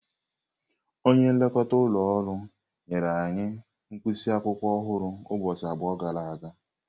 Onye nlekọta ụlọ ọrụ nyere anyị mkpịsị akwụkwọ ọhụrụ ụbọchị abụọ gara aga.